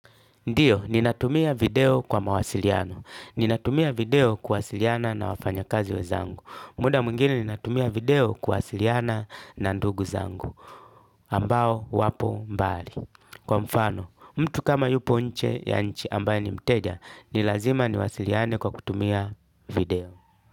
Ndiyo, ninatumia video kwa mawasiliano. Ninatumia video kuwasiliana na wafanyakazi wenzangu. Muda mwingine ninatumia video kuwasiliana na ndugu zangu. Ambao wapo mbali. Kwa mfano, mtu kama yupo nje ya nchi ambaye ni mteja, ni lazima niwasiliane kwa kutumia video.